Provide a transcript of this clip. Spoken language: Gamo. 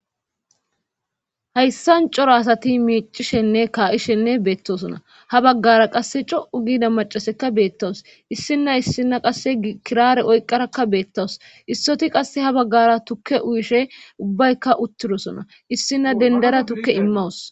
Hayssan coro asati miicishenne kaa'ishenne beettosona ha baggara qasse co'u giida macaseka beettawus issinna issina qasse kirare oyqarakka beettawus issoti qasse ha baggara tukke uyishe ubbaykka uttirosona issinna dendara tukke immawus